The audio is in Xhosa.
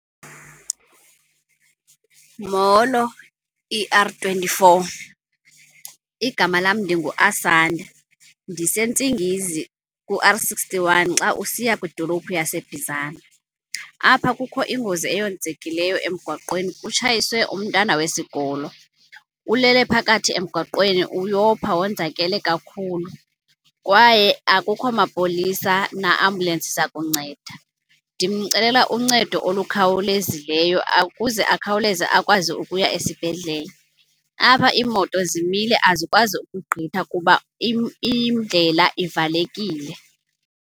Molo E R twenty-four. Igama lam ndinguAsanda, ndiseNtsingizi ku-R sixty-one xa usiya kwidolophu yaseBizana. Apha kukho ingozi eyenzekileyo emgwaqweni, kutshayiswe umntana wesikolo. Ulele phakathi emgwaqweni uyopha wonzakele kakhulu kwaye akukho mapolisa na-ambulensi zakunceda. Ndimcelela uncedo olukhawulezileyo ukuze akhawuleze akwazi ukuya esibhedlele. Apha iimoto zimile azikwazi ukugqitha kuba indlela ivalekile.